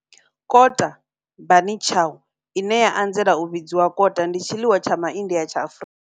Kota, bunny chow, ine ya anzela u vhidzwa kota, ndi tshiḽiwa tsha MA India tsha Afrika.